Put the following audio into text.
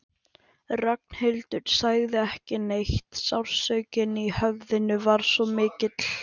Ragnhildur sagði ekki neitt, sársaukinn í höfðinu var svo mikill.